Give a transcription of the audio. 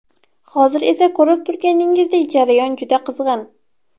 Hozir esa ko‘rib turganingizdek, jarayon juda qizg‘in.